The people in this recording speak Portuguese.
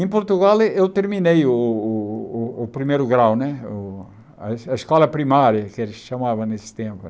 Em Portugal, eu terminei o o o primeiro grau né, o a a escola primária, que eles chamavam nesse tempo.